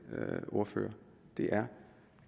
ordfører er